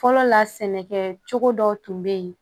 Fɔlɔ la sɛnɛkɛcogo dɔw tun bɛ yen